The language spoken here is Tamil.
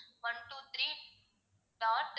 one two three dot